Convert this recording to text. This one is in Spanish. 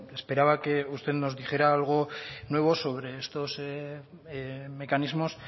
esperaba que usted nos dijera algo nuevo sobre estos mecanismos